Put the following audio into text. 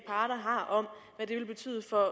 har om hvad det vil betyde for